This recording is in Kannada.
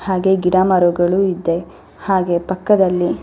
ಹಾಗೆ ಗಿಡ ಮರಗಳು ಇದೆ ಹಾಗೆ ಪಕ್ಕದಲ್ಲಿ --